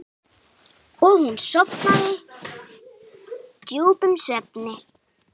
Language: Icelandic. Og hún sofnaði djúpum svefni.